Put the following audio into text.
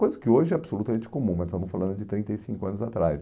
Coisa que hoje é absolutamente comum, mas estamos falando de trinta e cinco anos atrás.